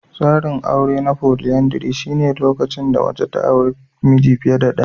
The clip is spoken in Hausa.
Tsarin aure na folyandry shine lokacin mace ta auri miji fiye da ɗaya.